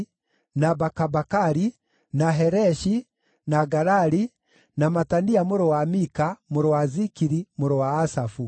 na Bakabakari, na Hereshi, na Galali, na Matania mũrũ wa Mika, mũrũ wa Zikiri, mũrũ wa Asafu;